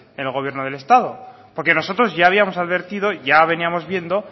en el gobierno del estado porque nosotros ya habíamos advertido y ya veníamos viendo